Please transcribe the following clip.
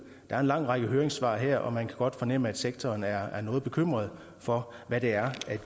er en lang række høringssvar her og man kan godt fornemme at sektoren er noget bekymret for hvad det er